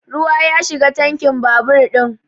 Ruwa ya shiga tankin babur ɗin